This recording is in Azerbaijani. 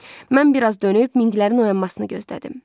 Mən biraz dönüb minqilərin oyanmasını gözlədim.